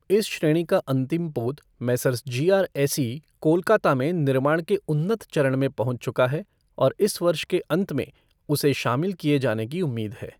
इस श्रेणी का अंतिम पोत Messrs G R S E, Kolkata में निर्माण की उन्नत चरण में पहुँच चुका है और इस वर्ष के अंत में उसे शामिल किए जाने की उम्मीद है।